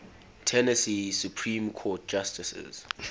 tennessee supreme court justices